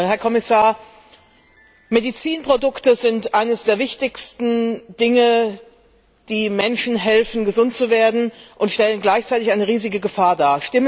Herr Kommissar, Medizinprodukte sind eines der wichtigsten Dinge, die Menschen helfen, gesund zu werden, und sie stellen gleichzeitig eine riesige Gefahr dar.